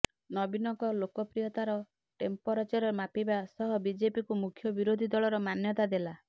ନବୀନଙ୍କ ଲୋକପ୍ରିୟତାର ଟେମ୍ପରେଚର ମାପିବା ସହ ବିଜେପିକୁ ମୁଖ୍ୟ ବିରୋଧୀ ଦଳର ମାନ୍ୟତା ଦେଲା